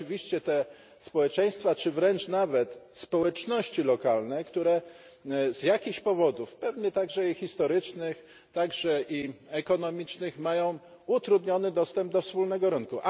Oczywiście te społeczeństwa, czy wręcz nawet społeczności lokalne, z jakiś powodów pewnie także i historycznych, także i ekonomicznych mają utrudniony dostęp do wspólnego rynku.